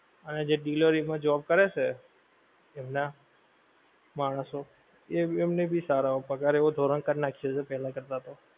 અને જે delivery માં job કરે છે, એમનાં માણસો, એમને ભી સારો પગાર એવો ધોરણ કરી નાખ્યો છે પહેલા કરતાં તો.